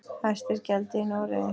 Hæst er gjaldið í Noregi.